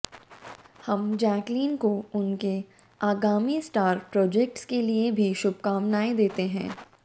हम जैकलीन को उनके आगामी स्टार प्रोजेक्ट्स के लिए भी शुभकामनाएं देते हैं